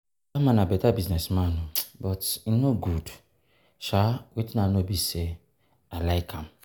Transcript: Dat man be beta business man but e no good sha wetin I know be say I like am